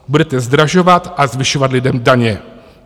Budete zdražovat a zvyšovat lidem daně.